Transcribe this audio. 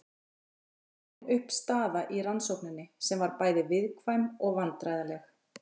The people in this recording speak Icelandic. En nú var komin upp staða í rannsókninni sem var bæði viðkvæm og vandræðaleg.